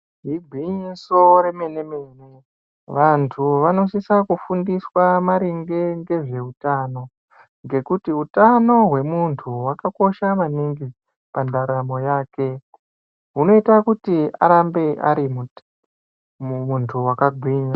Igwinyiso remene-mene vantu vanosisa kufundiswa maringe ngezveutano. Ngekuti hutano hwemuntu hwakakosha maningi pandaramo yake hunoita kuti arambe ari muntu vakagwinya.